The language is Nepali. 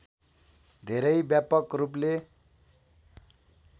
धेरै व्यापक रूपले